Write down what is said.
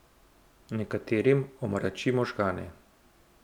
Nekaterim omrači možgane.